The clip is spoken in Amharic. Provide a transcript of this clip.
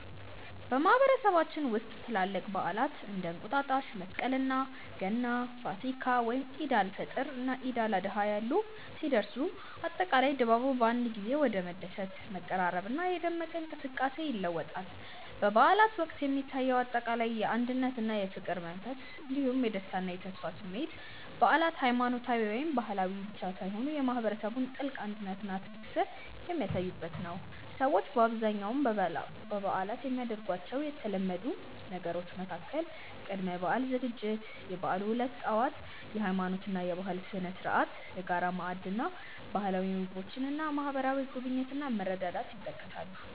በማህበረሰባችን ውስጥ ትላልቅ በዓላት (እንደ እንቁጣጣሽ፣ መስቀል፣ ገና፣ ፋሲካ፣ ወይም ዒድ አል-ፈጥር እና ዒድ አል-አድሃ ያሉ) ሲደርሱ፣ አጠቃላይ ድባቡ በአንድ ጊዜ ወደ መደሰት፣ መቀራረብና የደመቀ እንቅስቃሴ ይለወጣል። በበዓላት ወቅት የሚታየው አጠቃላይ የአንድነትና የፍቅር መንፈስ እንዲሁም የደስታና የተስፋ ስሜት በዓላት ሃይማኖታዊ ወይም ባህላዊ ብቻ ሳይሆኑ የማህበረሰቡን ጥልቅ አንድነትና ትስስር የሚያሳዩበት ነው። ሰዎች በአብዛኛው በበዓላት የሚያደርጓቸው የተለመዱ ነገሮች መካከል ቅድመ-በዓል ዝግጅት፣ የበዓሉ ዕለት ጠዋት (የሃይማኖትና የባህል ስነ-ስርዓት)፣የጋራ ማዕድ እና ባህላዊ ምግቦች እና ማህበራዊ ጉብኝት እና መረዳዳት ይጠቀሳሉ።